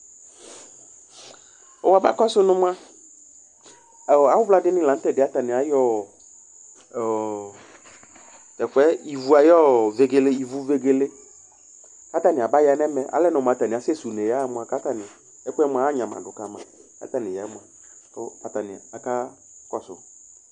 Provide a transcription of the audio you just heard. wʋ abs kɔdʋ nʋ mua awʋ vla dini lanʋ t'ɛɖi yɛ atani ayɔ ɔɔ t'ɛfʋɛ ivu ayɔɔ ivuvegele k'atni aba ya n'ɛmɛ Alɛnɔ mʋ atani asɛsɛ une yaha mʋa, k'atani ɛkʋɛ mua agnama dʋ kama k'atani ya ɛvʋ, kʋ atani aka kɔsʋ